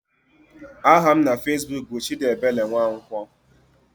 Aha m na fezbuk bụ Chidiebele Nwankwo.